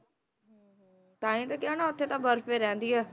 ਤਾਂ ਹੀ ਤਾਂ ਕਿਹਾ ਨਾ ਉੱਥੇ ਤਾਂ ਬਰਫ਼ ਹੀ ਰਹਿੰਦੀ ਹੈ,